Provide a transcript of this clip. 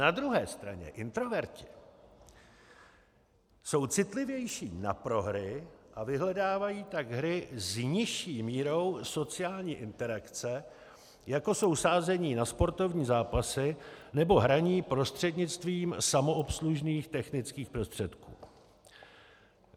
Na druhé straně introverti jsou citlivější na prohry a vyhledávají tak hry s nižší mírou sociální interakce, jako jsou sázení na sportovní zápasy nebo hraní prostřednictvím samoobslužných technických prostředků.